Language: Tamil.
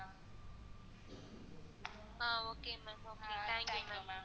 ah okay ma'am okay thank you ma'am